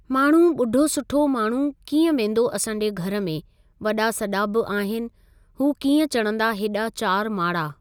माण्हू ॿुढो सुठो माण्हू कीअं वेंदो असांजे घरु मे वॾा सॾा बि आहिनि हू कीअं चढ़ंदा हेॾा चारि माड़ा।